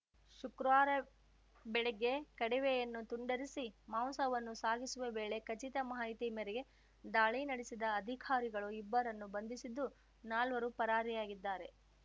ಶುಕ್ರವಾರ ಬೆಳಿಗ್ಗೆ ಕಡವೆಯನ್ನು ತುಂಡರಿಸಿ ಮಾಂಸವನ್ನು ಸಾಗಿಸುವ ವೇಳೆ ಖಚಿತ ಮಾಹಿತಿ ಮೇರೆಗೆ ದಾಳಿ ನಡೆಸಿದ ಅಧಿಕಾರಿಗಳು ಇಬ್ಬರನ್ನು ಬಂಧಿಸಿದ್ದು ನಾಲ್ವರು ಪರಾರಿಯಾಗಿದ್ದಾರೆ